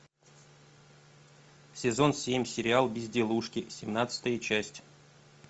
сезон семь сериал безделушки семнадцатая часть